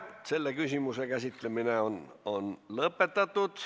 Selle küsimuse käsitlemine on lõppenud.